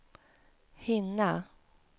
hinna